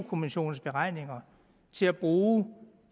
kommissionens beregninger til at bruge